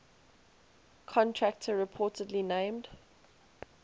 contractor reportedly named